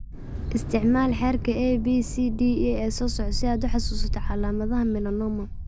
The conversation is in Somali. Isticmaal xeerka ABCDE ee soo socda si aad u xasuusato calaamadaha melanoma.